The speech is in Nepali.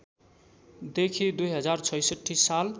देखि २०६६ साल